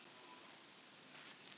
Ég skal passa börnin, þó það nú væri.